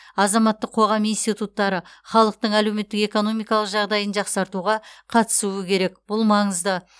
азаматтық қоғам институттары халықтың әлеуметтік экономикалық жағдайын жақсартуға қатысуы керек бұл маңызды